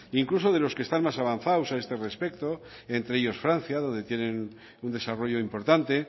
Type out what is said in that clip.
incluso de los que están más avanzados a este respecto entre ellos francia donde tienen un desarrollo importante